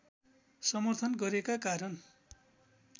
समर्थन गरेका कारण